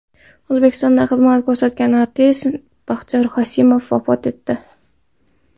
O‘zbekistonda xizmat ko‘rsatgan artist Baxtiyor Qosimov vafot etdi.